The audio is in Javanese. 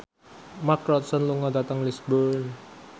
Mark Ronson lunga dhateng Lisburn